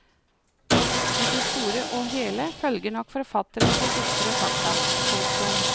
I det store og hele følger nok forfatteren de ytre fakta. punktum